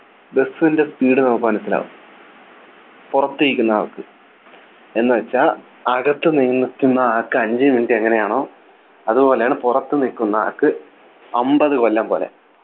bus ൻ്റെ Speed നമുക്ക് മനസ്സിലാകും പുറത്തിരിക്കുന്ന ആൾക്ക് എന്നുവെച്ചാൽ അകത്തു നിൽക്കുന്ന ആൾക്ക് അഞ്ചു Minute എങ്ങനെയാണോ അതുപോലെയാണ് പുറത്തുനിക്കുന്ന ആൾക്ക് അമ്പത് കൊല്ലം പോലെ